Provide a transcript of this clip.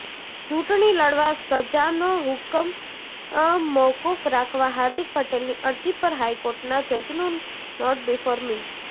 ચૂંટણી લડવા સજાનો હુક્મ મોકુફ રાખવા હાર્દિક પટેલની અરજી પર હાઈકોર્ટના જજનું નોટ બીફોર મી